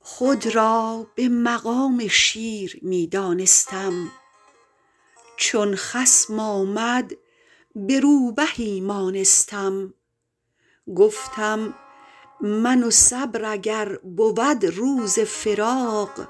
خود را به مقام شیر می دانستم چون خصم آمد به روبهی مانستم گفتم من و صبر اگر بود روز فراق